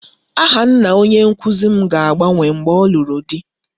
Aha nna onye nkụzi m ga-agbanwe mgbe ọ lụrụ di